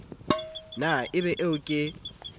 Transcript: na e be eo ke